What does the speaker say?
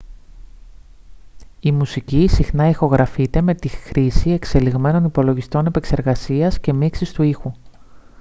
η μουσική συχνά ηχογραφείται με τη χρήση εξελιγμένων υπολογιστών επεξεργασίας και μίξης του ήχου